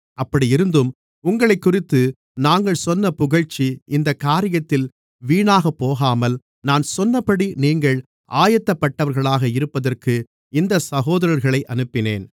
அப்படியிருந்தும் உங்களைக்குறித்து நாங்கள் சொன்ன புகழ்ச்சி இந்தக் காரியத்தில் வீணாகப்போகாமல் நான் சொன்னபடி நீங்கள் ஆயத்தப்பட்டவர்களாக இருப்பதற்கு இந்தச் சகோதரர்களை அனுப்பினேன்